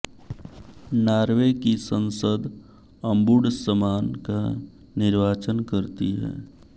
Norway की संसद ombudsman का निर्वाचन करती है